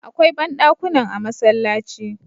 Akwai bandakunan a masallaci